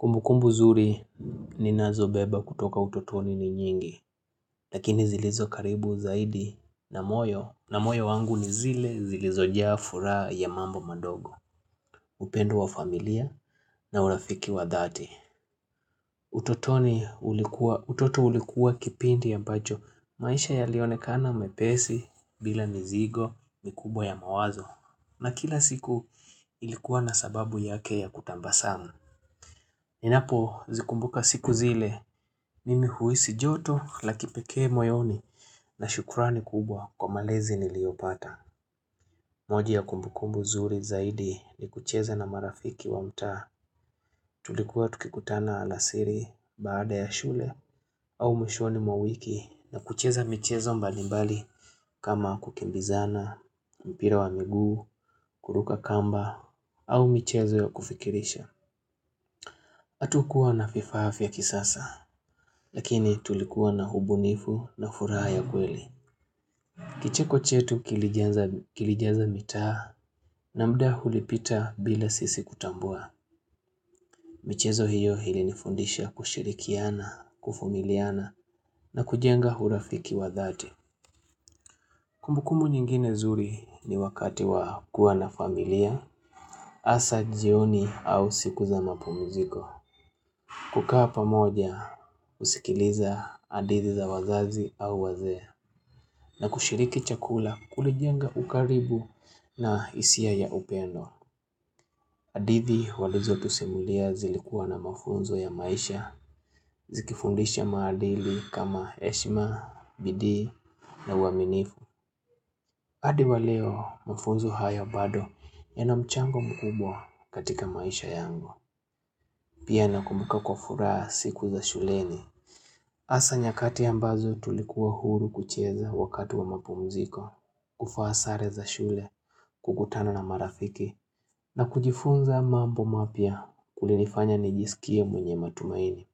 Kumbukumbu zuri ninazobeba kutoka utotoni ni nyingi, lakini zilizo karibu zaidi na moyo, na moyo wangu ni zile zilizo jaa furaha ya mambo madogo, upendo wa familia na urafiki wa dhati. Utotoni ulikuwa, utoto ulikuwa kipindi ambacho, maisha yalionekana mepesi bila mizigo mikubwa ya mawazo, na kila siku ilikuwa na sababu yake ya kutabasamu. Ninapo zikumbuka siku zile mimi huhisi joto la kipekee moyoni na shukurani kubwa kwa malezi niliyopata. Moja ya kumbukumbu zuri zaidi ni kucheza na marafiki wa mtaa tulikuwa tukikutana alasiri baada ya shule au mwishoni mwa wiki na kucheza michezo mbalimbali kama kukimbizana, mpira wa miguu, kuruka kamba au michezo ya kufikirisha. Hatukuwa na vifaa vya kisasa, lakini tulikuwa na ubunifu na furaha ya kweli. Kicheko chetu kilijaza mitaa na muda ulipita bila sisi kutambua. Michezo hiyo ilinifundisha kushirikiana, kuvumiliana na kujenga urafiki wa dhati. Kumbukumbu nyingine zuri ni wakati wa kuwa na familia, hasa jioni au siku za mapumziko. Kukaa pamoja, kusikiliza hadithi za wazazi au wazee na kushiriki chakula kulijenga ukaribu na hisia ya upendo. Hadithi walizo tusimulia zilikuwa na mafunzo ya maisha zikifundisha maadili kama heshima, bidii na uaminifu. Hadi wa leo mafunzo haya bado yana mchango mkubwa katika maisha yango. Pia nakumbuka kwa furaha siku za shuleni hasa nyakati ambazo tulikuwa huru kucheza wakati wa mapumziko kuvaa sare za shule, kukutana na marafiki na kujifunza mambo mapya kulinifanya nijisikie mwenye matumaini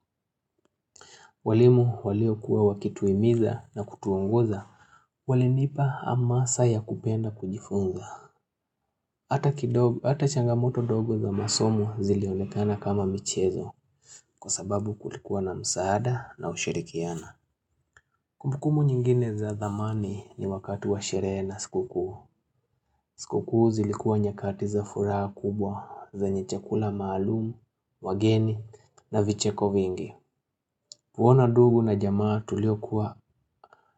walimu waliokuwa wakituhimiza na kutuongoza Walinipa amasa ya kupenda kujifunza Ata changamoto dogo za masomo zilionekana kama michezo Kwa sababu kulikuwa na msaada na ushirikiana Kumbukumu nyingine za dhamani ni wakatu wa sherehe na siku kuu siku kuu zilikua nyakati za furaha kubwa zenye chakula maalumu, wageni na vicheko vingi kuona ndugu na jamaa tulio kuwa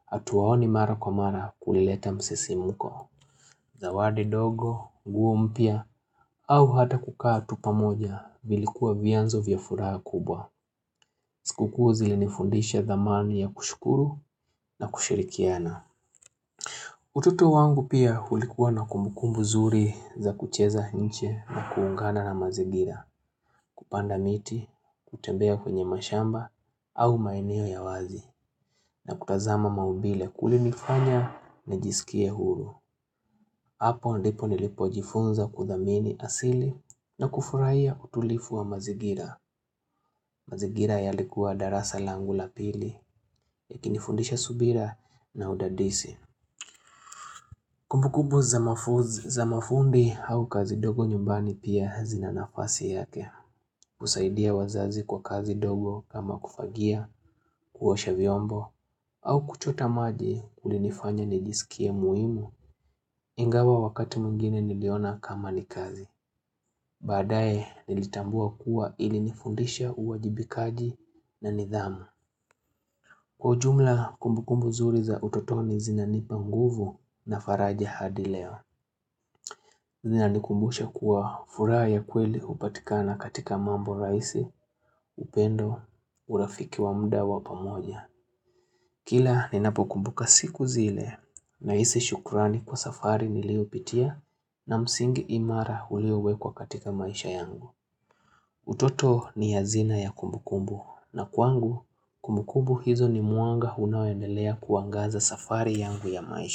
hatuwaoni mara kwa mara kulileta msisimko zawadi dogo, nguo mpya au hata kukaa tu pamoja vilikuwa vyanzo vya furaha kubwa Sikukuu zilinifundisha dhamani ya kushukuru na kushirikiana Ututo wangu pia ulikuwa na kumukumbu zuri za kucheza nje na kuungana na mazingira Kupanda miti, kutembea kwenye mashamba au maeneo ya wazi na kutazama maumbile kulinifanya nijisikie huru Hapo ndipo nilipojifunza kudhamini asili na kufurahia utulivu wa mazingira mazigira yalikuwa darasa langu la pili Yakini fundisha subira na udadisi Kumbu kumbu za mafumbi au kazi ndogo nyumbani pia zina nafasi yake husaidia wazazi kwa kazi ndogo kama kufagia, kuosha vyombo au kuchota maji kulinifanya nijisikie muhimu Ingawa wakati mwingine niliona kama ni kazi Badae nilitambua kuwa ili nifundisha uwajibikaji na nidhamu Kwa ujumla kumbu kumbu zuri za utotoni zinanipa mguvu na faraja hadi leo. Zinanikumbusha kuwa furaha ya kweli hupatikana katika mambo rahisi, upendo, urafiki wa muda wa pamoja. Kila ninapokumbuka siku zile, nahisi shukurani kwa safari niliopitia na msingi imara ulio wekwa katika maisha yangu. Utoto ni hazina ya kumbukumbu, na kwangu kumbukumbu hizo ni mwanga unaoendelea kuangaza safari yangu ya maisha.